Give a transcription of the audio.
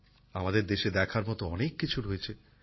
আমাদের দেশে দেখার মত অনেক কিছু রয়েছে